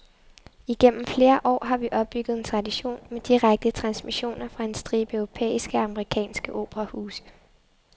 Igennem flere år har vi opbygget en tradition med direkte transmissioner fra en stribe europæiske og amerikanske operahuse.